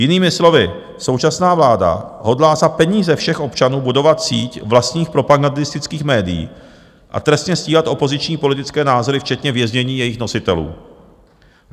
Jinými slovy současná vláda hodlá za peníze všech občanů budovat síť vlastních propagandistických médií a trestně stíhat opoziční politické názory včetně věznění jejich nositelů.